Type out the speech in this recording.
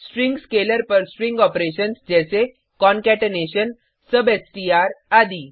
string scalar पर string operations जैसे concatenation substring आदि